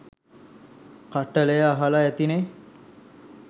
කට්ටිය අහල ඇතිනෙ.